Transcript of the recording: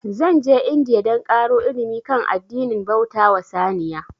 Zan je India dan ƙaro ilimi kan addinin bauta wa saniya